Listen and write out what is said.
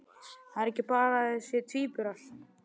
Það er ekki bara að þau séu tvíburar.